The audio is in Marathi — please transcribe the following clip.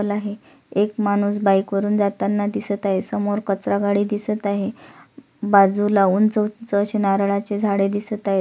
एक माणूस बाइक वरुण जाताना दिसत आहे समोर कचरा गाडी दिसत आहे बाजूला उंच उंच अशी नारळाची झाडे दिसत आहेत.